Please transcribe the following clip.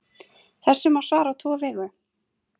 Þessu má svara á tvo vegu.